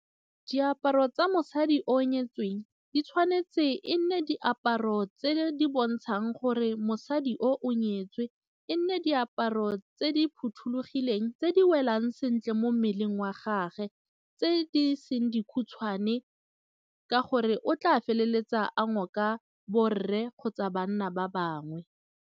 Diaparo tsa mosadi o nyetsweng di tshwanetse e nne diaparo tse di bontshang gore mosadi o o nyetswe, e nne diaparo tse di phothulogileng eng tse di welang sentle mo mmeleng wa gage, tse di seng dikhutshwane ka gore o tla feleletsa a ngoka borre kgotsa banna ba bangwe.